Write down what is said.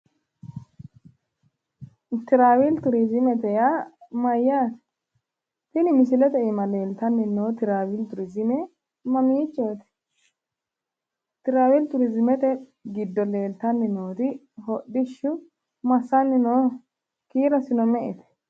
Tiraavili turizimete yaa mayyaate? Tini misilete iima leeltanni noo tiraavili turizime mamiichchooti? Tiraavili turizimete giddo leeltanni noori hodhishshu massanni nooho? Kiirosino me"eho?